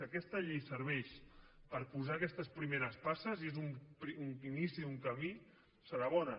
si aquesta llei serveix per posar aquestes primeres passes és un inici d’un camí serà bona